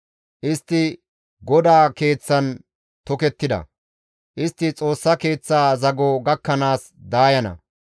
Istti GODAA keeththan tokettida; istti Xoossa Keeththa zago gakkanaas daayana.